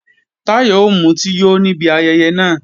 Táyọ̀ ó mutí yó níbi ayẹyẹ náà